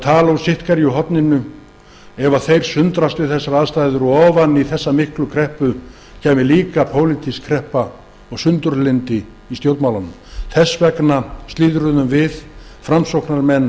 tala hvor úr sínu horninu sundruðust ofan í hina miklu kreppu kæmi pólitísk kreppa og sundurlyndi í stjórnmálunum þess vegna slíðruðum við framsóknarmenn